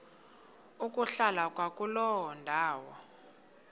ukuhlala kwakuloo ndawo